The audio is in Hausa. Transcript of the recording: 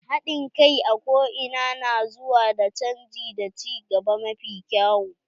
Haɗin kai a ko ina na zuwa da canji da ci gaba mafi kyau.